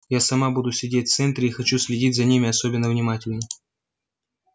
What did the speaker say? я сама буду сидеть в центре и хочу следить за ними особенно внимательно